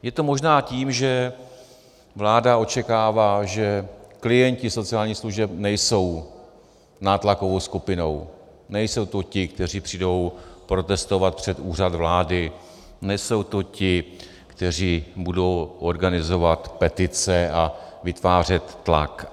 Je to možná tím, že vláda očekává, že klienti sociálních služeb nejsou nátlakovou skupinou, nejsou to ti, kteří přijdou protestovat před Úřad vlády, nejsou to ti, kteří budou organizovat petice a vytvářet tlak.